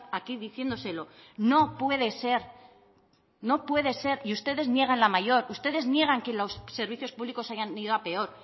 aquí diciéndoselo no puede ser no puede ser y ustedes niegan la mayor ustedes niegan que los servicios públicos hayan ido a peor